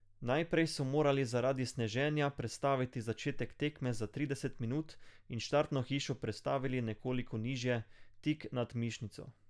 Najprej so morali zaradi sneženja prestaviti začetek tekme za trideset minut in štartno hišo prestavili nekoliko nižje, tik nad Mišnico.